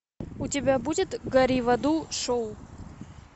у тебя будет гори в аду шоу